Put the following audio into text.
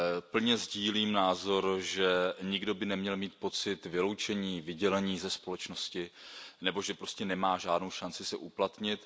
Plně sdílím názor, že nikdo by neměl mít pocit vyloučení, vydělení ze společnosti nebo že prostě nemá žádnou šanci se uplatnit.